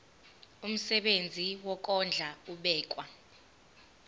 umsebenzi wokondla ubekwa